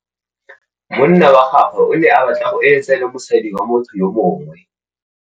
Monna wa gagwe o ne a batla go êlêtsa le mosadi wa motho yo mongwe.